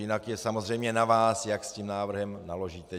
Jinak je samozřejmě na vás, jak s tím návrhem naložíte.